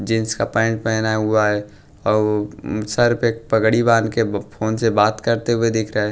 Jeans का pant पहना हुआ है औ सिर पे पगड़ी बांध के ब फोन से बात करते हुए दिख रहा हैं।